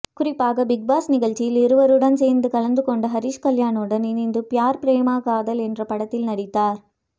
குறிப்பாக பிக்பாஸ் நிகழ்ச்சியில் இவருடன் சேர்ந்து கலந்து கொண்ட ஹரிஷ்கல்யாணுடன் இணைந்து பியார் பிரேமம் காதல் என்ற படத்தில் நடித்தார்